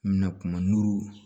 N bɛna kuma n'u